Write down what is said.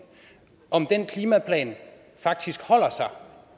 om den klimaplan faktisk holder sig